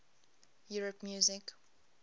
europe music